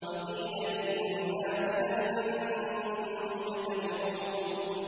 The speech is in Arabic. وَقِيلَ لِلنَّاسِ هَلْ أَنتُم مُّجْتَمِعُونَ